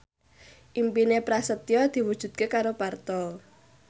impine Prasetyo diwujudke karo Parto